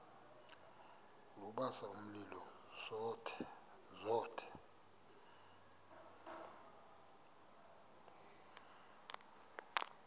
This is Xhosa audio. lubasa umlilo zothe